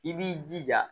I b'i jija